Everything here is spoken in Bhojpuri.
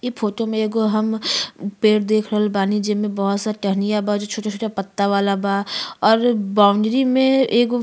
इ फोटो मे एगो हम पेड़ देख रहल बानी। जेमे बहुत सा टहनियाँ बा जो छोटा छोटा पत्ता वाला बा और बाउंड्री मे एगो --